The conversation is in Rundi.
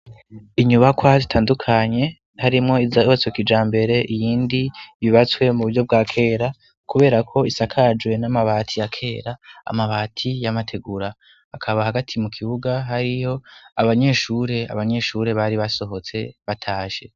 Inyubakwa zitandukanye, harimwo izubatswe kijambere, iyindi yubatswe mu buryo bwa kera, kubera ko isakajwe n'amabati ya kera(amabati y'amategura),hakaba hagati mu kibuga hariho abanyeshure, abanyeshure bari basohotse batashe.